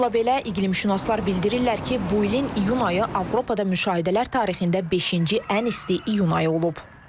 Bununla belə, iqlimşünaslar bildirirlər ki, bu ilin iyun ayı Avropada müşahidələr tarixində beşinci ən isti iyun ayı olub.